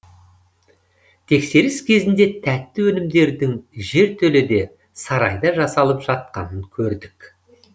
тексеріс кезінде тәтті өнімдердің жертөледе сарайда жасалып жатқанын көрдік